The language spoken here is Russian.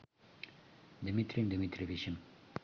дмитрием дмитриевичем